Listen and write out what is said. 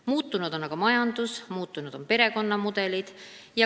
Muutunud on aga majandus ja muutunud on perekonnamudelid.